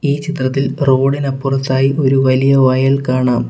ഈ ചിത്രത്തിൽ റോഡ് ഇനപ്പുറത്തായി ഒരു വലിയ വയൽ കാണാം.